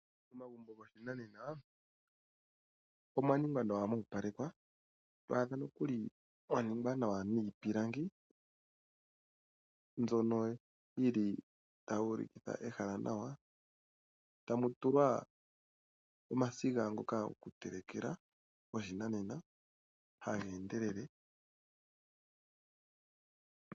Momagumbo goshinanena omwa ningwa nawa mo opalekwa to adha nokuli mwa ningwa nawa niipilangi mbyono yi li tayi monikitha ehala nawa tamu tulwa omasiga ngoka gokutelekela goshinanena haga endelele.